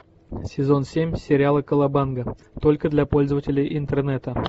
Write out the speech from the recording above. сезон семь сериала колобанга только для пользователей интернета